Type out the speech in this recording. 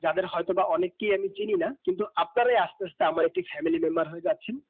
যাদের হয়তো বা অনেকি আমি চিনি না কিন্তু আপনারা আস্তে হস্ত আমারি একটি family member হয়ে যাচ্ছেন